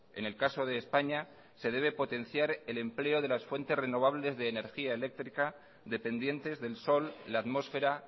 en el caso de españa se debe potenciar el empleo de las fuentes renovables de energía eléctrica dependientes del sol la atmósfera